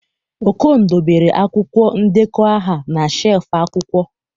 Okon dobere akwụkwọ ndekọ aha na shelf akwụkwọ